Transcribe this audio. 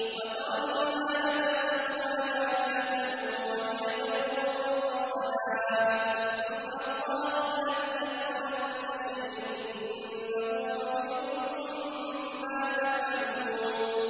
وَتَرَى الْجِبَالَ تَحْسَبُهَا جَامِدَةً وَهِيَ تَمُرُّ مَرَّ السَّحَابِ ۚ صُنْعَ اللَّهِ الَّذِي أَتْقَنَ كُلَّ شَيْءٍ ۚ إِنَّهُ خَبِيرٌ بِمَا تَفْعَلُونَ